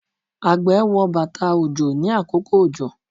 àgbẹ̀ wọ bàtà òjò ní àkókò òjò